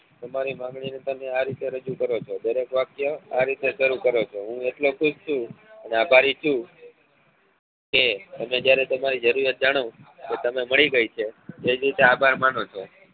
તમારી માંગણી ની તમે આ રીતે રજુ કરો છો દરેક વાક્ય આ રીતે શરુ કરો છો હું એટલે ખુશ છું અને આભારી છું કે તમે જયારે તમારી જરૂરિયાત જાણો જે મળી ગઈ છે એ જ રીતે આભાર માનો છો